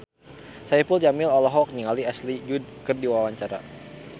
Saipul Jamil olohok ningali Ashley Judd keur diwawancara